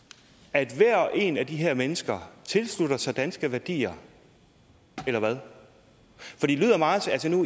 at hver og en af de her mennesker tilslutter sig danske værdier eller hvad